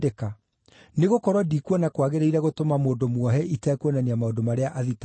Nĩgũkorwo ndikuona kwagĩrĩire gũtũma mũndũ muohe itekuonania maũndũ marĩa athitangĩirwo.”